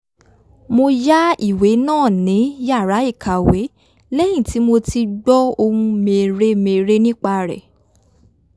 mo yá ìwé náà ní yàrá ìkàwé lẹ́yìn tí mo ti gbọ́ ohun mère-mère nípa rẹ̀